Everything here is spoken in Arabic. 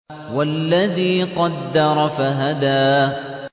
وَالَّذِي قَدَّرَ فَهَدَىٰ